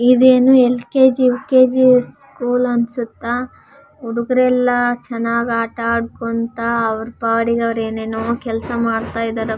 ಹ್ಹು ಅವಳ ಕೈಯಲ್ಲಿ ಫೆವಿಕ್ವಿಕ ಇದೆ ಒಬ್ಬ ಹುಡುಗ ಮಾಸ್ಕನ್ನು ಹಾಕಿಕೊಂಡಿದ್ದಾನೆ.